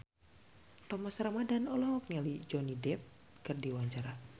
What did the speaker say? Thomas Ramdhan olohok ningali Johnny Depp keur diwawancara